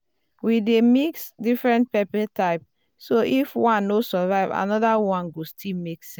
we dey mix different pepper type so if one no survive another one go still make sense.